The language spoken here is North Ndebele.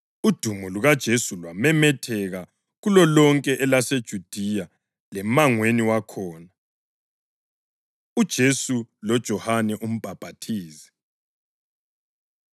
Udumo lukaJesu lwamemetheka kulolonke elaseJudiya lemangweni wakhona. UJesu LoJohane UMbhaphathizi